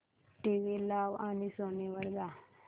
TV लाव आणि Sony वर जा